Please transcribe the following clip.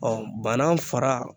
banan fara